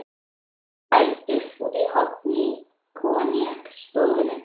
Við fengum þó sæti úti í horni á koníaksstofunni.